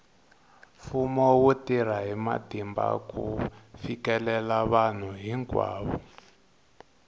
mfumo wu tirha hi matimba ku fikelela vanhu hinkwavo